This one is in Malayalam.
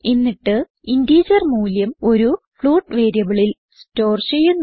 എന്നിട്ട് ഇന്റിജർ മൂല്യം ഒരു ഫ്ലോട്ട് വേരിയബിളിൽ സ്റ്റോർ ചെയ്യുന്നു